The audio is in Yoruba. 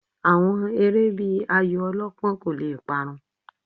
Àwọn eré bíi ayò ọlọ́pán kò le parun